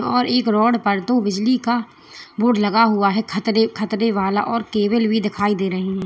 और एक रॉड पर दो बिजली का बोर्ड हुआ है खतरे खतरेवाला और केबल भी दिखाई रही है।